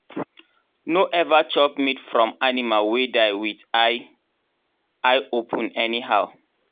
no ever chop meat from animal wey die with eye eye open anyhow.